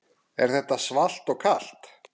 Er þetta svalt og kalt?